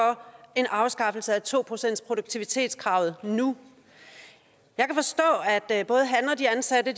en afskaffelse af to procentsproduktivitetskravet nu jeg kan forstå at både han og de ansatte